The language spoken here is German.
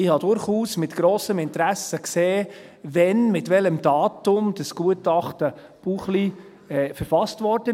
Ich habe durchaus mit grossem Interesse gesehen, wann, mit welchem Datum das Gutachten Buchli verfasst wurde.